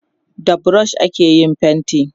da brush ake yin fainti